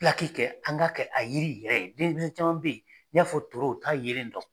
Pilaki kɛ an ka kɛ a yiri yɛrɛ denmisɛn caman bɛ ye n'i y'a fɔ toro u t'a yelen dɔn.